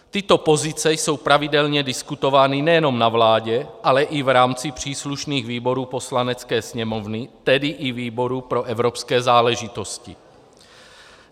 Tyto pozice jsou pravidelně diskutovány nejenom na vládě, ale i v rámci příslušných výborů Poslanecké sněmovny, tedy i výboru pro evropské záležitosti.